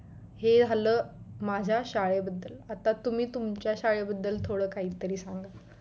हे झालं माझ्या शाळेबद्दल आता तुम्ही तुमच्या शाळे बद्दल थोड काहीतरी